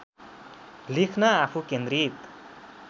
लेख्न आफू केन्द्रित